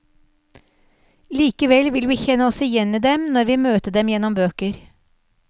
Likevel vil vi kjenne oss igjen i dem, når vi møter dem gjennom bøker.